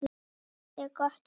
Stillt og gott veður.